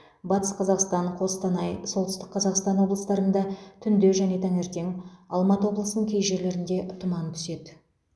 батыс қазақстан қостанай солтүстік қазақстан облыстарында түнде және таңертең алматы облысының кей жерлерінде тұман түседі